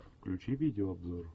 включи видеообзор